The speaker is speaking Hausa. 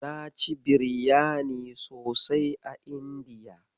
Na ci biryani sosai a Indiya.